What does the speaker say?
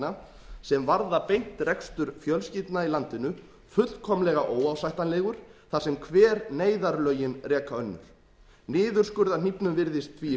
niðurskurðartillagna sem varða beint rekstur fjölskyldna í landinu fullkomlega óásættanlegur þar sem hver neyðarlögin reka önnur niðurskurðarhnífnum virðist því í